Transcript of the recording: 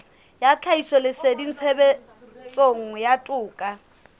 ya tlhahisoleseding tshebetsong ya toka